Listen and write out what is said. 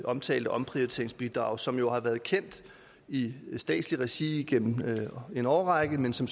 omtalte omprioriteringsbidrag som jo har været kendt i statslig regi igennem en årrække men som